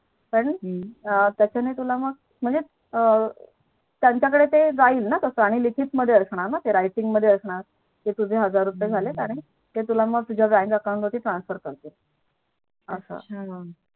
कारण त्याच ना तुला मग म्हणजे त्यांच्या कडे ते जाईल ना तस आणि ते लिखित मध्ये असणार ना ते Writing मध्ये असणार कि तुझे हम्म हजार रुपये झाले मग ते तुला तुझ्या Bank account ला Transfer करतील अच्छा